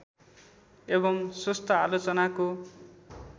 एवम् स्वस्थ आलोचनाको